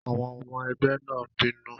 Àwọn ọmọ ẹgbẹ́ náà n bínú